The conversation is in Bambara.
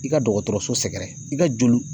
I ka dɔgɔtɔrɔso sɛgɛrɛ i ka joli